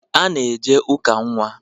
A na-eje ụka nnwa.